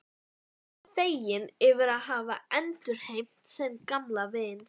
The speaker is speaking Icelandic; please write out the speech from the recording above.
Hann var feginn yfir að hafa endurheimt sinn gamla vin.